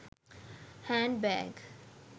hand bag